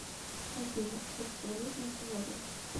афина курс валют на сегодня